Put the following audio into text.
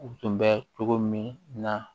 U tun bɛ cogo min na